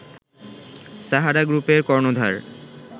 সাহারা গ্রুপের কর্ণধার